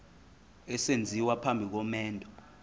esenziwa phambi komendo